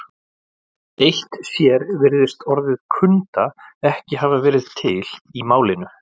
Eitt sér virðist orðið kunda ekki hafa verið til í málinu.